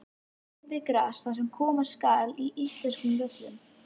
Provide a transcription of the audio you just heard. Er gervigras það sem koma skal á íslenskum völlum?